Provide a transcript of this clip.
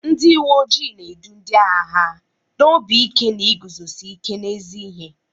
Ndị uwe ojii na-edu ndị agha ha n'obi ike na iguzosi ike n'ezi ihe.